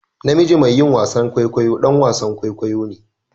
Namiji mai yin wasan kwaikwayo ɗan wasan kwaikwayo ne